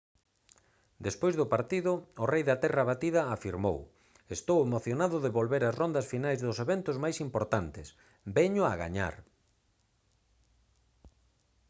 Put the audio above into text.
despois do partido o rei da terra batida afirmou: «estou emocionado de volver ás rondas finais dos eventos máis importantes. veño a gañar»